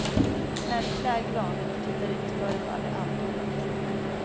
Och när vi klär granen och tittar ut förefaller allt overkligt.